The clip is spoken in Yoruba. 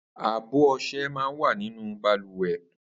Àbọ ọṣẹ̀ mà n wà ninú bàlùwẹ̀